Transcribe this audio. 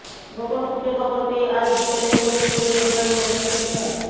গোপন সূত্রে খবর পেয়ে আজ বিকেলে ফরিদপুরের নির্বাহী ম্যাজিস্ট্রেট মো